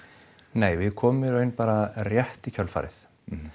nei við komum í raun bara rétt í kjölfarið